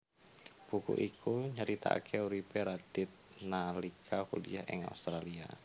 Buku iku nyeritakaké uripé Radith nalika kuliah ing Australia